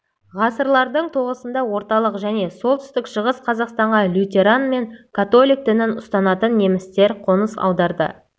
ғасырлардың тоғысында орталық және солтүстік-шығыс қазақстанға лютеран мен католик дінін ұстанатын немістер қоныс аударды